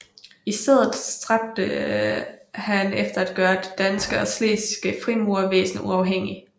I stedet stræbte han efter at gøre det danske og slesvigske frimurervæsen uafhængigt